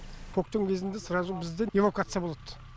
көктем кезінде сразу бізде эвакуация болады